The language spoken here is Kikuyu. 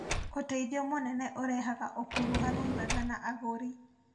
Ũteithio mũnene ũrehaga ũkuruhanu mwega na agũri.